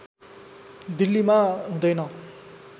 दिल्लीमा हुँदैन